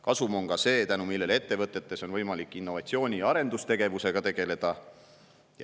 Kasum on ka see, tänu millele ettevõtetes on võimalik innovatsiooni ja arendustegevusega tegeleda.